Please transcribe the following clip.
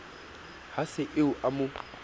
ha se eo a mo